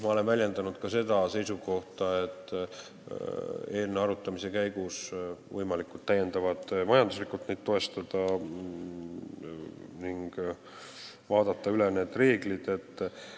Ma olen väljendanud ka seda seisukohta eelnõu arutamise käigus, et neid võiks täiendavalt majanduslikult toetada ning need reeglid üle vaadata.